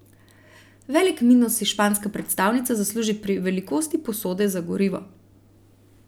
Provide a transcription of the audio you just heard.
Velik minus si španska predstavnica zasluži pri velikosti posode za gorivo.